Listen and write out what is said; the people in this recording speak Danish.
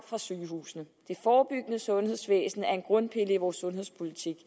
fra sygehusene det forebyggende sundhedsvæsen er en af grundpillerne i vores sundhedspolitik